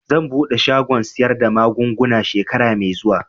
Zan buɗe shagon sayar da magunguna shekara mai zuwa